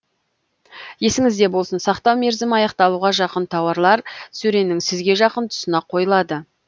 есіңізде болсын сақтау мерзімі аяқталуға жақын тауарлар сөренің сізге жақын тұсына қойылады